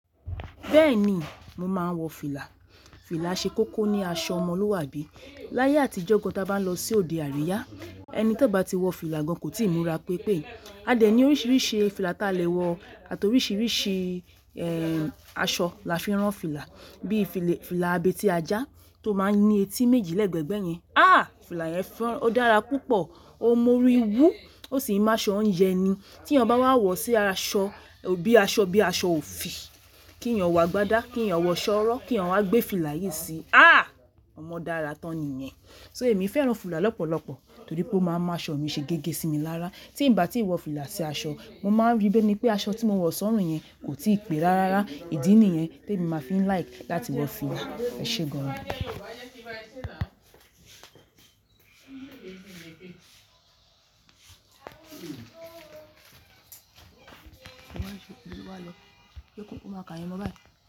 Bẹ́ẹ̀ni, mo máa ń wọ fìlà. Fìlà ṣe kókó ní aṣọ ọmọlúwàbí. Láyé àtijọ́ gán tí a bá lọ sí òde àríyá, ẹni tó bá ti wọ fìlà gán kò tíì múra pi pé. A dẹ̀ ní oríṣiríṣi fìlà ta lè wọ àti oríṣiríṣi, ẹ́, aṣọ la fi rán fìlà bí fìlà abetí ajá tó máa ń ní etí méjì lẹ́ẹ̀gbẹ̀gbẹ̀ yẹn. Àh! Fìlà yẹn fọ́n, ó dára púpọ̀, ó mú orí wú, ó sì máa ṣọ́ yẹn ni. Tí èyán bá wà wọ̀ sí aṣọ bíi aṣọ bí aṣọ òfì, kí èyán wọ gbádá, kí èyán wọ ṣọ́ ọ̀rọ́, kí èyán wà gbé fìlà yìí síi. Àh! Ọmọ dára tán ni yẹn. So èmi fẹ́ràn fìlà lọ́pọ̀lọpọ̀ torí pé ó máa ń máaṣọ̀ mi ṣe gẹ́gẹ́ sí mi lára. Tí ń bá tí wọ fìlà sí aṣọ, mo máa ń rí bẹ́ẹni pé aṣọ tí mo wọ̀ sọ́rùn yẹn kò tí pé rárá. Ìdí nìyẹn tí èmi máa fi ń like láti wọ fìlà. Ẹ ṣé gan an ní.